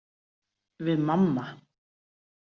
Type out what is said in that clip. Við mamma.